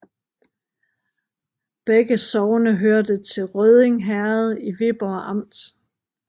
Begge sogne hørte til Rødding Herred i Viborg Amt